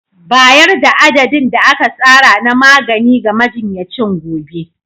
Bayar da adadin da aka tsara na magani ga majinyacin gobe.